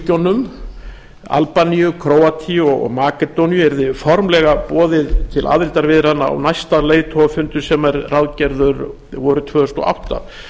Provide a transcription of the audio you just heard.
balkanríkjunum albaníu króatíu og makedóníu yrði formlega boðið til aðildarviðræðna á næsta leiðtogafundi sem er ráðgerður vorið tvö þúsund og átta